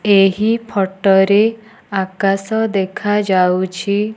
ଏହି ଫଟ ରେ ଆକାଶ ଦେଖାଯାଉଛି।